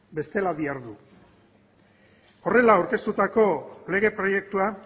bestela dihardu horrela aurkeztutako lege proiektua